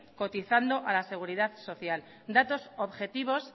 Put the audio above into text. cotizando a la seguridad social datos objetivos